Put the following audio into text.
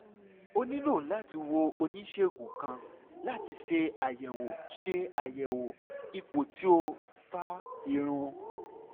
o nilo lati wo onisegun kan lati ṣe ayẹwo ṣe ayẹwo ipo ti o fa irun